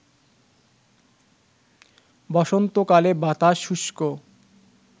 বসন্তকালে বাতাস শুষ্ক